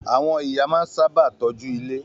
Àwọn ìyá sábà máa ń tọ́jú ilé.